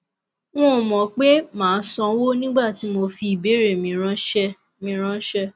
n ò mọ pé màá sanwó nígbà tí mo fi ìbéèrè mi ráńṣẹ mi ráńṣẹ